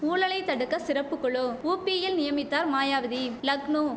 ஊழலை தடுக்க சிறப்பு குழு ஊபியில் நியமித்தார் மாயாவதி லக்னோ